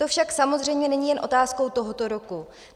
To však samozřejmě není jen otázkou tohoto roku.